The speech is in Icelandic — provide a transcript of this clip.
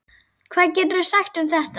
Hvað geturðu sagt um þetta?